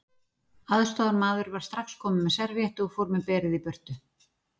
Aðstoðarmaður var strax komin með servíettu og fór með berið í burtu.